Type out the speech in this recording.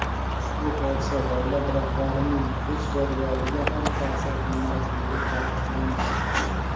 Ushbu hodisa davlat rahbarining ish jadvaliga ham ta’sir qilmasligi ta’kidlangan.